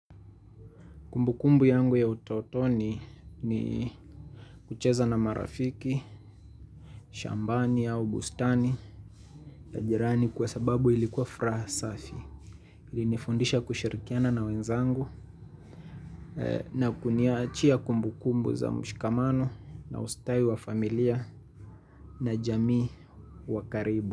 Kumbu kumbu yangu ya utotoni ni kucheza na marafiki, shambani au bustani ya jirani kwa sababu ilikuwa furaha safi. Ilinifundisha kushirikiana na wenzangu na kuniachia kumbu kumbu za mshikamano na ustai wa familia na jamii wa karibu.